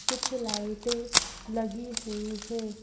कुछ लाइटें लगी हुई हैं।